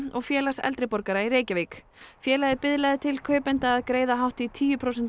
og Félags eldri borgara í Reykjavík félagið biðlaði til kaupenda að greiða hátt í tíu prósentum